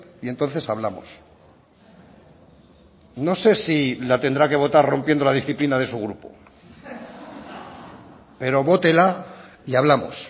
y entonces hablamos no sé si la tendrá que votar rompiendo la disciplina de su grupo pero vótela y hablamos